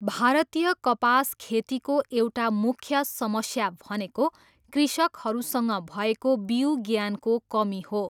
भारतीय कपास खेतीको एउटा मुख्य समस्या भनेको कृषकहरूसँग भएको बिउ ज्ञानको कमी हो।